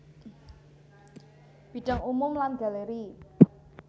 Bidang umum lan galeri